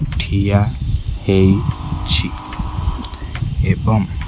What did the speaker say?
ଠିଆ ହେଇଛି ଏବଂ --